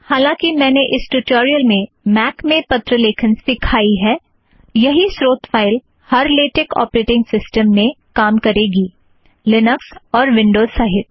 हालांकि मैंने इस ट्युटोरियल में मैक में पत्र लेखन सिखाई है यही स्रोत फ़ाइल हर लेटेक औपरेटिंग सिस्टमस में काम करेगी लिनक्स और विन्ड़ोज़ सहित